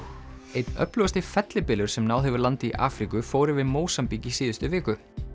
einn öflugasti fellibylur sem náð hefur landi í Afríku fór yfir Mósambík í síðustu viku